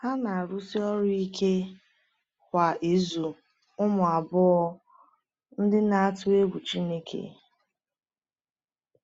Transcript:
Ha na-arụsi ọrụ ike kwa ịzụ ụmụ abụọ ndị na-atụ egwu Chineke.